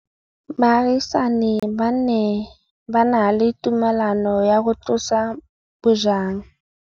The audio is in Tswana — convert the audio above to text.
Baagisani ba ne ba na le tumalanô ya go tlosa bojang.